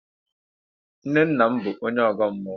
Nnenna m bụ onye Ọ̀gọ́ mmụọ.